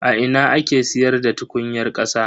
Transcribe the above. A ina ake siyarda tukunyar kasa.